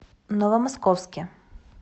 новомосковске